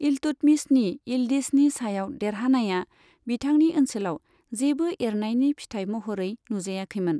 इल्तुतमिशनि इलदिजनि सायाव देरहानाया बिथांनि ओनसोलाव जेबो एरनायनि फिथाय महरै नुजायाखैमोन।